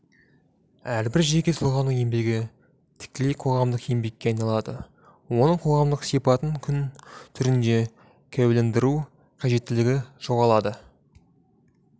әрбір жеке тұлғаның еңбегі тікелей қоғамдық еңбекке айналады оның қоғамдық сипатын құн түрінде куәландыру қажеттілігі жоғалады